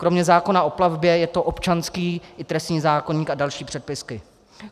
Kromě zákona o plavbě je to občanský i trestní zákoník a další předpisy.